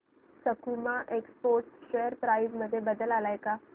सकुमा Exports share price मध्ये बदल आलाय का